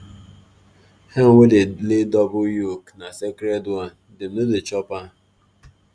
hen wey dey lay double yolk na sacred one dem no dey chop am.